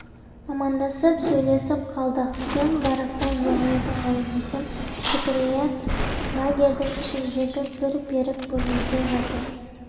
амандасып сөйлесіп қалдық сен баракта жоқ едің ғой десем зікірия лагерьдің ішіндегі бір берік бөлмеде жатыр